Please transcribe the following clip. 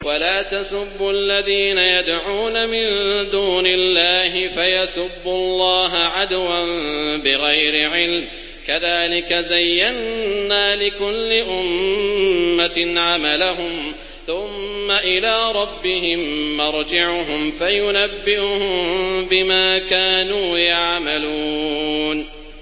وَلَا تَسُبُّوا الَّذِينَ يَدْعُونَ مِن دُونِ اللَّهِ فَيَسُبُّوا اللَّهَ عَدْوًا بِغَيْرِ عِلْمٍ ۗ كَذَٰلِكَ زَيَّنَّا لِكُلِّ أُمَّةٍ عَمَلَهُمْ ثُمَّ إِلَىٰ رَبِّهِم مَّرْجِعُهُمْ فَيُنَبِّئُهُم بِمَا كَانُوا يَعْمَلُونَ